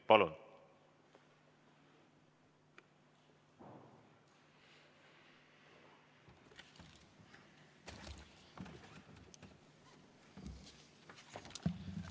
Palun!